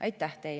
Aitäh teile!